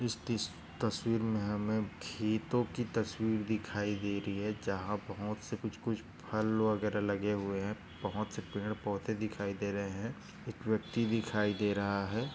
इस तस्वीर में हमे खेतोंकी तस्वीर दिखाई दे रही है। जहा बहुत से कूच कूच फल वगैरा लगे हुए है बहुत से पेड पौधे दिखाई दे रहे है। एक व्यक्ती दिखाई दे रहा है।